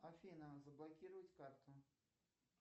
афина заблокировать карту